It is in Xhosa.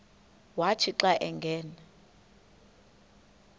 wathi xa angena